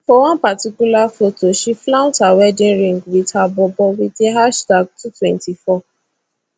for one particular foto she flaunt her wedding ring wit her bobo wit di hashtag two twenty four